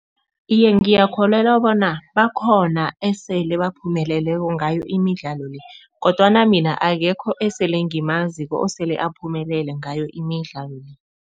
Iye, ngiyakholelwa bona bakhona esele baphumeleleko ngayo imidlalo le kodwana mina akekho esele ngimaziko osele aphumelele ngayo imidlalo le.